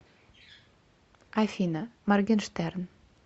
афина моргенштерн